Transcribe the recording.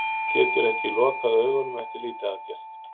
Getur ekki lokað augunum eftir lýtaaðgerð